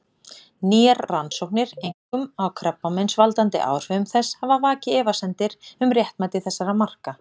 Nýjar rannsóknir, einkum á krabbameinsvaldandi áhrifum þess, hafa vakið efasemdir um réttmæti þessara marka.